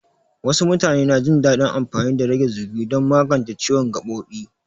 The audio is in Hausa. Wasu mutane na jin daɗin amfani da rage zugi don magance ciwon gaɓoɓi.